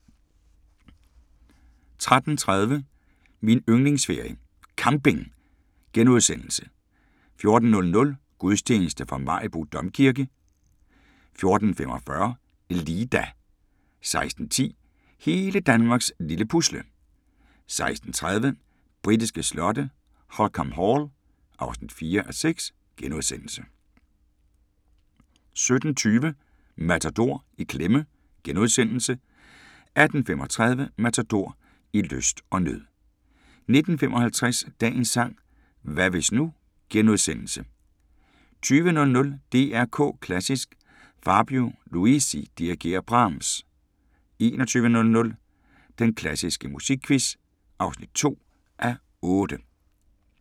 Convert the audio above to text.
13:30: Min yndlingsferie: Camping * 14:00: Gudstjeneste fra Maribo Domkirke 14:45: LIDA 16:10: Hele Danmarks lille Pusle 16:30: Britiske slotte: Holkham Hall (4:6)* 17:20: Matador - i klemme * 18:35: Matador – I lyst og nød 19:55: Dagens sang: Hvad hvis nu * 20:00: DR K Klassisk: Fabio Luisi dirigerer Brahms 21:00: Den klassiske musikquiz (2:8)